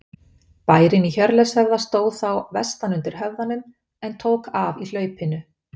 Bærinn í Hjörleifshöfða stóð þá vestan undir höfðanum en tók af í hlaupinu.